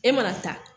E mana taa